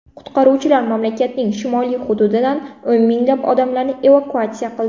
Qutqaruvchilar mamlakatning shimoliy hududida o‘n minglab odamlarni evakuatsiya qildi.